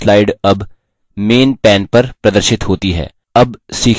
यह slide अब main main पर प्रदर्शित होती है